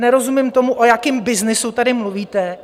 Nerozumím tomu, o jakém byznysu tady mluvíte.